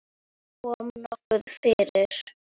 Kom nokkuð fyrir?